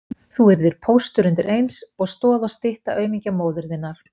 Þú yrðir póstur undir eins og stoð og stytta aumingja móður þinnar